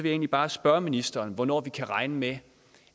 egentlig bare spørge ministeren hvornår vi kan regne med